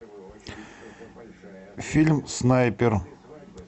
фильм снайпер